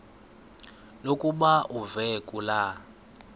lokuba uve kulaa